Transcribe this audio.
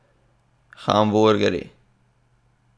Hamburgerji?